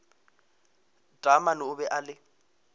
taamane o be a le